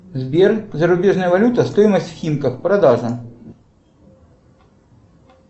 сбер зарубежная валюта стоимость в химках продажа